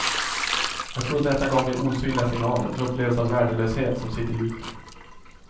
Jag tror att detta gav mig osynliga signaler, en upplevelse av värdelöshet som sitter djupt.